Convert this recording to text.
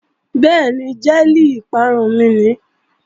Bẹ́ẹ̀ni, jẹ́ẹ̀lì ìparun mi ni